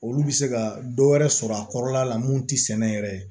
Olu bɛ se ka dɔ wɛrɛ sɔrɔ a kɔrɔla la mun ti sɛnɛ yɛrɛ ye